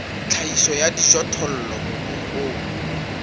tlhahiso ya dijothollo mobung o